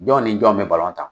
Jɔn ni jɔn bɛ balon ta?